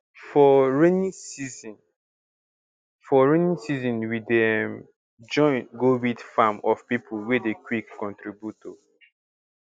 for rainy season for rainy season we dey um join um weed farm of people wey dey quick contribute um